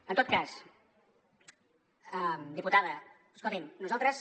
en tot cas diputada escolti’m nosaltres